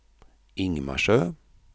Ingmarsö